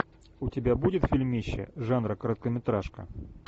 у тебя будет фильмище жанра короткометражка